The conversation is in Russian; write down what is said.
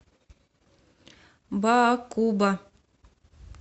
баакуба